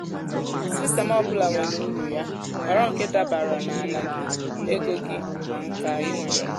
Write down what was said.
sistemụ ọ bụla nwere uru ya. họrọ nke dabara na ala gị ego gị na nka ị nwere.